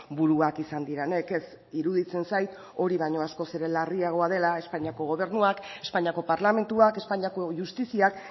buruak izan direnek ez iruditzen zait hori baino askoz ere larriagoa dela espainiako gobernuak espainiako parlamentuak espainiako justiziak